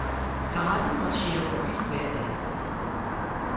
Garden marcherer forbi hver dag.